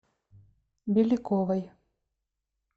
беляковой